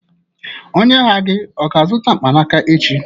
Onye ahịa gị ọ ga-azụta mkpanaka echi?